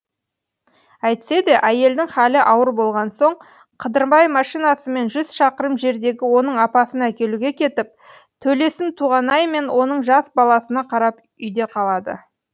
әйтсе де әйелдің халі ауыр болған соң қыдырбай машинасымен жүз шақырым жердегі оның апасын әкелуге кетіп төлесін толғанай мен оның жас баласына қарап үйде қалады